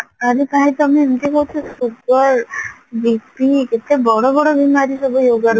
ତମେ ଏମତି କହୁଚ sugar bi-pi କେତେ ବଡ ବଡ ବେମରୀ ସବୁ ହେଇପାରୁଚି